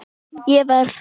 Ég verð.